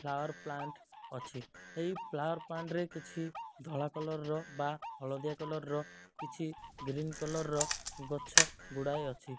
Power plant ଅଛି। ଏହି power plant ରେ କିଛି ଧଳା କଲର୍ ବା ହଳଦିଆ କଲର୍ ର କିଛି ଗ୍ରୀନ କଲର୍ ର ଗଛ ଗୁଡ଼ାଏ ଅଛି।